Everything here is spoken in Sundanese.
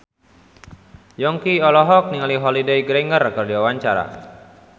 Yongki olohok ningali Holliday Grainger keur diwawancara